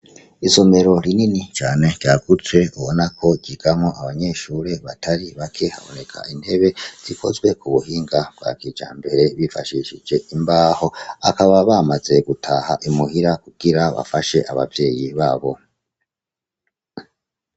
Isomero rinini cane ryagutse ubona ko ryigamwo abanyeshure batari bake haboneka intebe zikozwe ku buhinga bwa kijambere bifashishije ikibaho, akaba bamaze gutaha imuhira kugira bafashe abavyeyi babo.